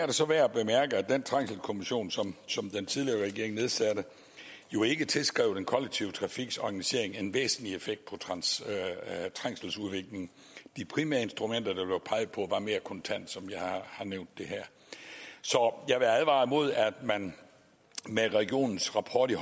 det så værd at bemærke at den trængselskommission som som den tidligere regering nedsatte jo ikke tilskrev den kollektive trafiks organisering en væsentlig effekt på trængseludviklingen de primære instrumenter der blev peget på var mere kontante som jeg har nævnt det her så jeg vil advare imod at man med regionens rapport i